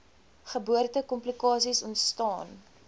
geboorte komplikasies ontstaan